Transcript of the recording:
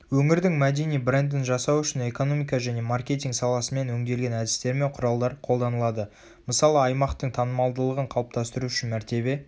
өңірдің мәдени брендін жасау үшін экономика және маркетинг саласымен өңделген әдістер мен құралдар қолданылады.мысалы аймақтың танымалдығын қалыптастыру үшін мәртебе